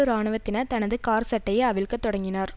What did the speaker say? இராணுவத்தினர் தனது காற்சட்டையை அவிழ்க்க தொடங்கினார்